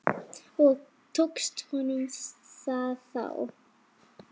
Og tókst honum það þá?